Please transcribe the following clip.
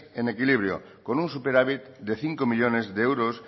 en equilibrio con un superávit de cinco millónes de euros